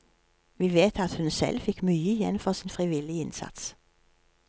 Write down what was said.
Vi vet at hun selv fikk mye igjen for sin frivillige innsats.